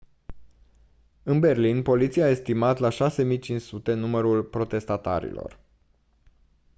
în berlin poliția a estimat la 6500 numărul protestatarilor